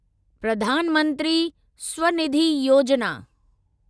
Pradhan Mantri Svanidhi Yojana